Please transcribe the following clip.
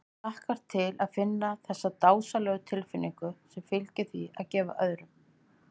Hann hlakkaði til að finna þessa dásamlegu tilfinnigu sem fylgir því að gefa öðrum.